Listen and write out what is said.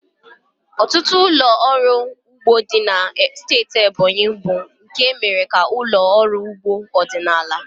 Ọtụtụ ụlọ ọrụ ugbo dị na steeti Ebonyi bụ nke e mere ka ụlọ ọrụ ugbo ọdịnala.